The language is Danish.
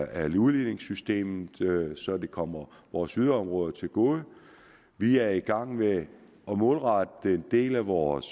af udligningssystemet så det kommer vores yderområder til gode vi er i gang med at målrette en del af vores